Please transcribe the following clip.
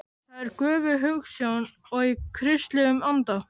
Það er göfug hugsjón og í kristilegum anda.